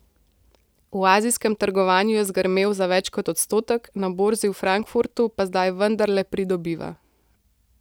V azijskem trgovanju je zgrmel za več kot odstotek, na borzi v Frankfurtu pa zdaj vendarle pridobiva.